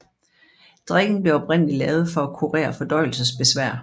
Drikken blev oprindelig lavet for at kurere fordøjelsesbesvær